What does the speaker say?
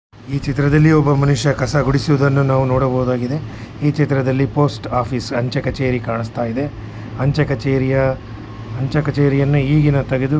ಇದರಲ್ಲಿ ಒಬ್ಬ ಮನುಷ್ಯ ಕಸಗುಡಿಸುವುದನ್ನು ನಾವು ನೋಡಬಹುದಾಗಿದೆ ಈ ಚಿತ್ರದಲ್ಲಿ ಪೊಸ್ಟ ಆಫೀಸ ಅಂಚೆ ಕಚೇರಿ ಕಾಣಿಸ್ತಾ ಇದೆ ಅಂಚೆ ಕಚೇರಿಯ ಅಂಚೆ ಕಚೇರಿಯನ್ನ ಈಗಿನ ತೆಗೆದು --